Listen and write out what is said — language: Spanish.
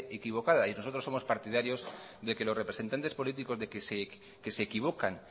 equivocadas y nosotros somos partidarios de que los representantes políticos que se equivocan